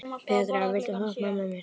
Petra, viltu hoppa með mér?